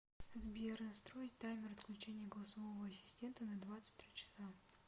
сбер настроить таймер отключения голосового ассистента на двадцать три часа